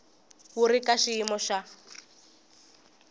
wu ri ka xiyimo xa